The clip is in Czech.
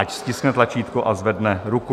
Ať stiskne tlačítko a zvedne ruku.